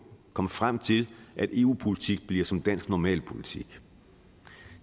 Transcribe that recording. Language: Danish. komme frem til at eu politik bliver som dansk normalpolitik